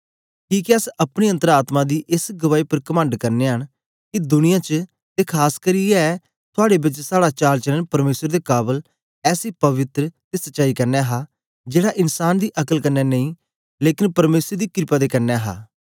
किके अस अपनी अन्तर आत्मा दी एस गवाई उपर कमंड करनयां न के दुनिया च ते खास करियै थुआड़े बेच साड़ा चाल चलन परमेसर दे काबल ऐसी पवित्र ते सच्चाई कन्ने हा जेड़ा इन्सान दी अक्ल कन्ने नेई लेकन परमेसर दी क्रपा दे कन्ने हा